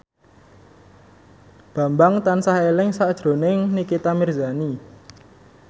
Bambang tansah eling sakjroning Nikita Mirzani